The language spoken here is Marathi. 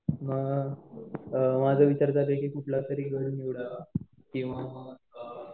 अ माझा विचार चालू आहे की कुठला तरी गड निवडावं किंवा